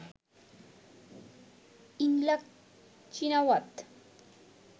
Yingluck Shinawatra